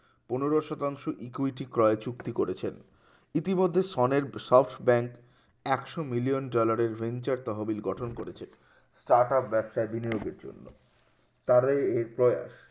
পনেরো শতাংশ ইকুইরিটি ক্রয় চুক্তি করেছেন ইতিমধ্যে সনের সব bank একশো million dollar এর home chat তহবিল গঠন করেছে টাকা ব্যবসায়ের বিনিয়োগ করার জন্য তারের উপর